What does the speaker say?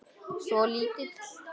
Svo lítill.